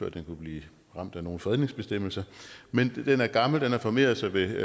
at den kunne blive ramt af nogle fredningsbestemmelser men den er gammel den har formeret sig ved